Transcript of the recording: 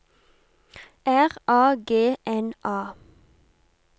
R A G N A